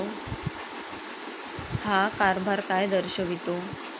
हा कारभार काय दर्शवितो?